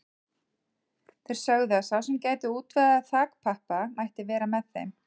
Þeir sögðu að sá sem gæti útvegað þakpappa mætti vera með þeim.